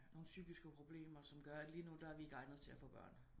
Nogen psykiske problemer som gør at lige nu der er vi ikke egnet til at få børn